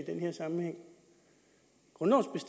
den her sammenhæng grundlovens